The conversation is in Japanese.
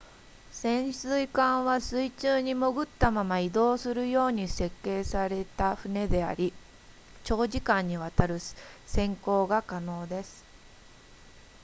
潜水艦は水中に潜ったまま移動するように設計された船であり長時間にわたる潜航が可能です